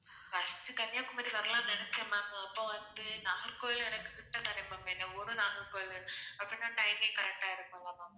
first to Kanyakumari வரலாம்னு நினைச்சேன் ma'am அப்போ வந்து நாகர்கோவில எனக்கு கிட்ட தானே ma'am எங்க ஊரு நாகர்கோவில் அப்போ இன்னும் timing correct ஆ இருக்கும்